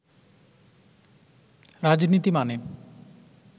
রাজনীতি মানে